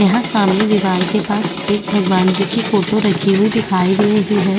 यह सामने दीवार के पास एक भगवन जी की फोटो रखी हुई दिखाई दे रही हैं।